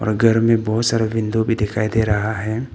और घर में बहुत सारे विंडो भी दिखाई दे रहा है।